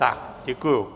Tak děkuji.